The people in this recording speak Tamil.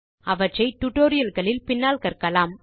அவற்றை டியூட்டோரியல் களில் பின்னால் கற்கலாம்